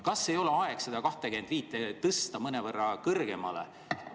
Kas ei ole aeg seda 25 tõsta mõnevõrra kõrgemale?